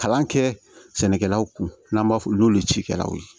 Kalan kɛ sɛnɛkɛlaw kun n'an b'a fɔ n'olu cikɛlaw ye